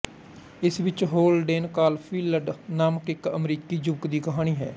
ਇਸ ਵਿੱਚ Holden Caulfield ਨਾਮਕ ਇੱਕ ਅਮਰੀਕੀ ਯੁਵਕ ਦੀ ਕਹਾਣੀ ਹੈ